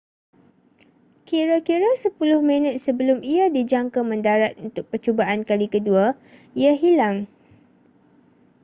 kira-kira sepuluh minit sebelum ia dijangka mendarat untuk percubaan kali kedua ia hilang